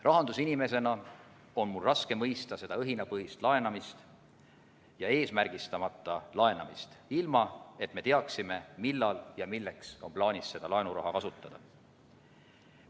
Rahandusinimesena on mul raske mõista seda õhinapõhist laenamist ja eesmärgistamata laenamist, ilma et me teaksime, millal ja milleks on plaanis seda laenuraha kasutada.